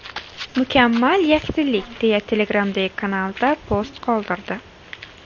Mukammal yakdillik!”, deya Telegram’dagi kanalida post qoldirdi .